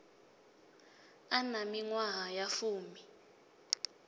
a na miṅwaha ya fumi